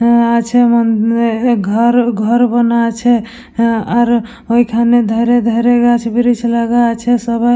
হ্যাঁ আছে মনে ঘর ঘর বোনা আছে আর ওইখানে ধরে ধরে গাছ ব্রিজ লাগা আছে সবাই--